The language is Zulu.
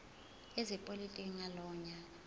ezepolitiki ngalowo nyaka